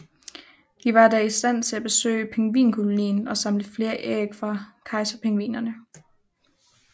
De var da i stand til at besøge pingvinkolonien og samle flere æg fra kejserpingvinerne